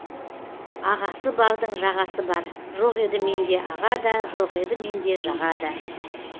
ағасы бардың жағасы бар жоқ еді менде аға да жоқ еді менде жаға да